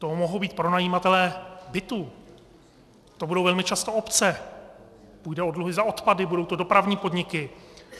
To mohou být pronajímatelé bytu, to budou velmi často obce, půjde o dluhy za odpady, budou to dopravní podniky.